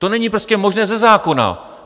To není prostě možné ze zákona.